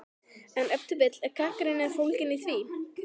En ef til vill er gagnrýnin fólgin í því?!